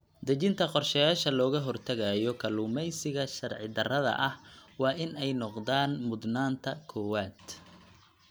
Dejinta qorshayaasha looga hortagayo kalluumeysiga sharci darrada ah waa in ay noqdaan mudnaanta koowaad.